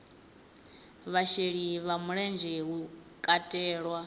vhasheli vha mulenzhe hu katelwa